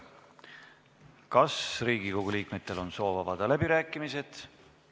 Kas Riigikogu liikmetel on soovi avada läbirääkimised?